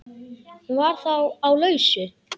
Hún var þá á lausu!